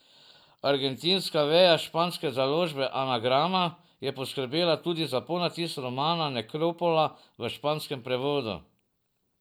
Argentinska veja španske založbe Anagrama je poskrbela tudi za ponatis romana Nekropola v španskem prevodu.